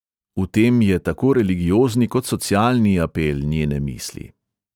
V tem je tako religiozni kot socialni apel njene misli.